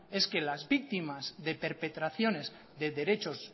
es que las víctimas de perpetraciones de derechos